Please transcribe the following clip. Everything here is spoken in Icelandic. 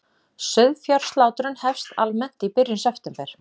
Sauðfjárslátrun hefst almennt í byrjun september